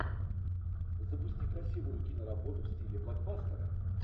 запусти красивую киноработу в стиле блокбастера